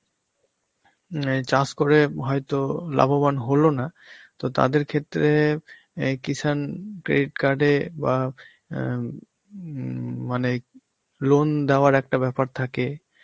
হম এই চাষ করে হয়তো লাভবান হলো না, তো তাদের ক্ষেত্রে এই কৃষাণ credit card এ বা আঁ হম মানে loan এবার একটা ব্যাপার থাকে,